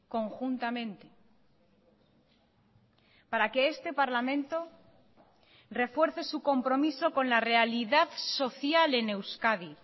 conjuntamente para que este parlamento refuerce su compromiso con la realidad social en euskadi